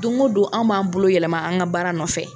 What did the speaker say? Don o don an m'an bolo yɛlɛma an ka baara nɔfɛ.